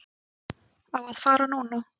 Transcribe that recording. Á að fara núna.